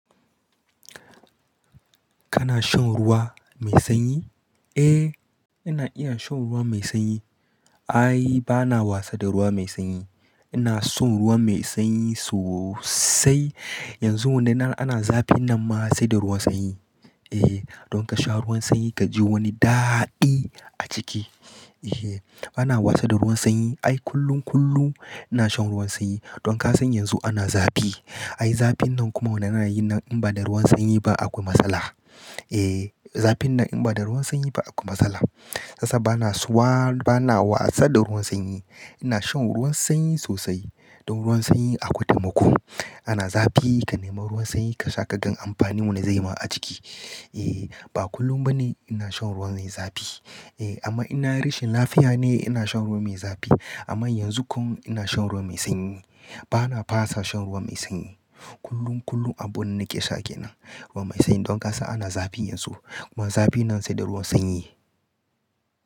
Kana shan ruwa mai sanyi? Eh, ina iya shan ruwa mai sanyi. Ai bana wasa da ruwa mai sanyi. Ina son ruwa mai sanyi sosai. Yanzu wannan ana zafi nan ma sai da ruwan sanyi. Eh, don ka sha ruwan sanyi ka ji wani daɗi a ciki. Eh, bana wasa da ruwan sanyi. Ai kullum, kullum ina shan ruwan sanyi. Don ka san yanzu ana zafi. Ai zafin nan kuma wannan na yi in ba da ruwan sanyi ba akwai matsala. Eh, zafin nan in ba da ruwan sanyi ba akwai matsala. Shi yasa bana wasa, bana wasa da ruwan sanyi. Ina shan ruwan sanyi sosai. Don ruwan sanyi akwai taimiko. Ana zafi ka nema ruwan sanyi ka sha ka gan amfanin wanda zai ma a jiki. Eh, ba kullum bane ina shan ruwan mai zafi. Eh, amma ina rashin lafiya ne ina shan ruwa mai zafi. Amma yanzu kum ina shan ruwa mai sanyi. Bana fasa shan ruwa mai sanyi. Kullum, kullum abu na nake sha kenan, ruwa mai sanyi. Don ka san ana zafi yanzu. Kuma zafi nan sai da ruwan sanyi.